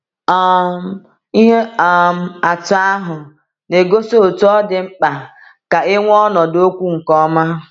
um Ihe um atụ ahụ na-egosi otú ọ dị mkpa ka e nwee ọnọdụ okwu nke ọma.